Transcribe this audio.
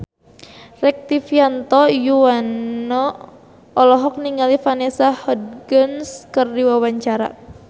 Rektivianto Yoewono olohok ningali Vanessa Hudgens keur diwawancara